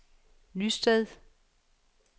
Nysted